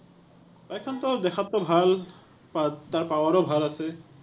bike খনটো দেখাতটো ভাল। তাত, তাৰ power ও ভাল আছে।